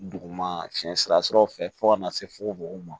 Duguma fiɲɛ siraw fɛ fo ka na se fukofogo ma